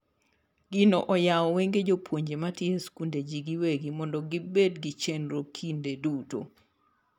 Gino oyawo wenge jopuonje matiyo e skunde ji giwegi mondo gibed gi chenro kinde duto.